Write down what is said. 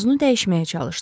Mövzunu dəyişməyə çalışdı.